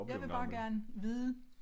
Jeg vil bare gerne vide